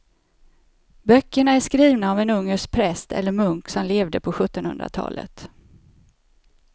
Böckerna är skrivna av en ungersk präst eller munk som levde på sjuttonhundratalet.